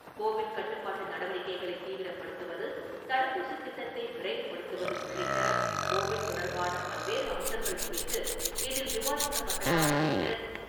Covid கட்டுப்பாட்டு நடவடிக்கைளை தீவிரப்படுத்துவது, தடுப்பூசி திட்டத்தை விரைவுபடுத்துவது, உள்ளிட்ட கோவிட் தொடர்பான பல்வேறு அம்சங்கள் குறித்து இதில் விவாதிக்கப்பட்டதாக தெரிகிறது.